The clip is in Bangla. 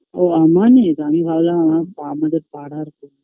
ও আমানেরআমি ভাবলাম আমার আমাদের পাড়ার কেউ